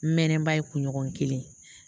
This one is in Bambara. N mɛɛnnen ba ye kunɲɔgɔn kelen